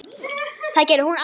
Það gerði hún aldrei aftur.